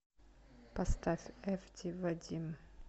поставь эфди вадим